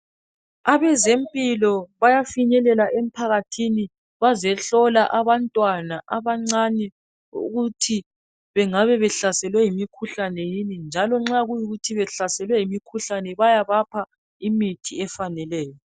Abezempilo bayafinyelela emphakathini bazehlola abantwana abancane ukuthi bengabe behlaselwe yimikhuhlane yini, njalo nxa kuyikuthi bahlaselwe yimikhuhlane bayabapha imithi efaneleyo